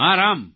હા રામ